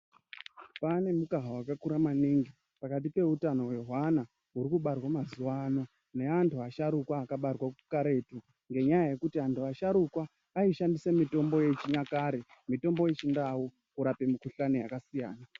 Pane mukaha wakakura maningi ,pakati peutano hwehwana huri kubarwa mazuwa ano neantu neasharuka akabatwa karetu, ngenyaya yekuti antu asharuka , aishandise mitombo yechinyakare, mitombo yechindau kurape mikhuhlani yakasiyana-siyana.